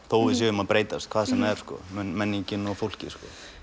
þótt við séum að breytast hvað sem það er menningin eða fólkið